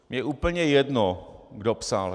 Mně je úplně jedno, kdo psal.